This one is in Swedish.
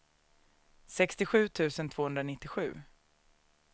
sextiosju tusen tvåhundranittiosju